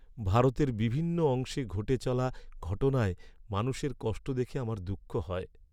ভারতের বিভিন্ন অংশে ঘটে চলা ঘটনায় মানুষের কষ্ট দেখে আমার দুঃখ হয়।